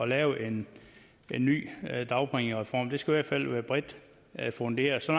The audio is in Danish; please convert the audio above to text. lave en ny dagpengereform den skal i hvert fald være bredt funderet så